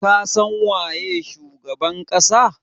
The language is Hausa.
Ka san waye shugaban kasa?